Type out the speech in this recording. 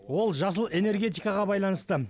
ол жасыл энергетикаға байланысты